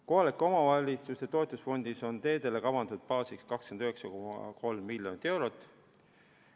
Kohalike omavalitsuste toetusfondis on teedele kavandatud baassummaks 29,3 miljonit eurot.